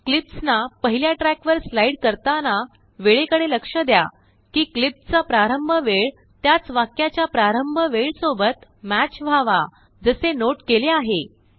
क्लिप्सनापहल्याट्रैक वरस्लाइड करताना वेळे कडे लक्ष द्या किक्लिपचा प्रारंभ वेळ त्याचवाक्याच्याप्रारंभ वेळ सोबतमैच व्हावा जसेनोट केले आहे